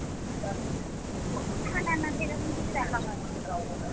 না না সেরকম কিছু দেখা হয়না